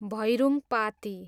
Bhairungpati